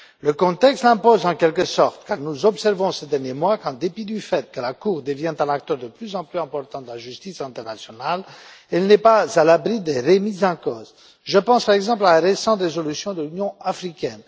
Le contexte l'impose, en quelque sorte, car nous observons, ces derniers mois, qu'en dépit du fait que la Cour devient un acteur de plus en plus important de la justice internationale, elle n'est pas à l'abri des remises en cause. Je pense, par exemple, à la récente résolution de l'Union africaine.